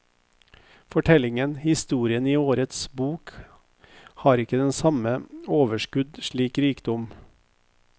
Fortellingen, historien i årets bok har ikke det samme overskudd og slik rikdom.